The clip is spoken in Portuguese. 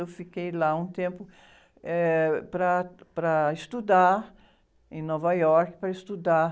Eu fiquei lá um tempo, eh, para, para estudar em Nova York, para estudar.